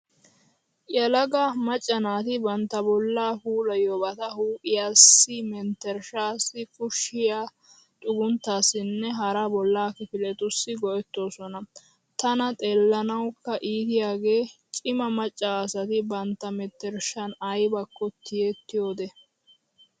Yelaga macca naati bantta bollaa puulayiyoobata huuphiyaassi, menttershshaassi, kushiyaa xugunttaassinne hara bollaa kifiletussi go"ettoosona. Tana xeellanawukka iitiyaagee cima macca asati bantta menttershshan aybakko tiyettiyoodee.